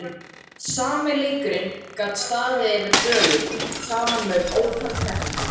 Sami leikurinn gat staðið yfir dögum saman með ótal keppendum.